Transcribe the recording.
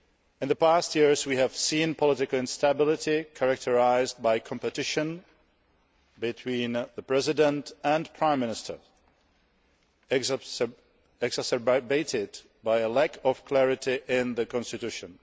In the past years, we have seen political instability, characterised by competition between the President and Prime Minister, exacerbated by a lack of clarity in the Constitution.